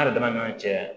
An yɛrɛ dama ni ɲɔgɔn cɛ